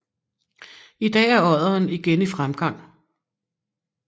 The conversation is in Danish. I dag er odderen igen i fremgang